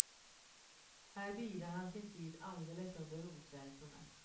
Här bidar han sin tid alldeles under rotvältorna.